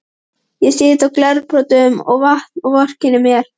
Ég sit í glerbrotum og vatni og vorkenni mér.